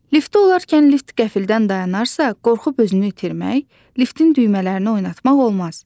Liftdə olarkən lift qəfildən dayanarsa, qorxub özünü itirmək, liftin düymələrini oynatmaq olmaz.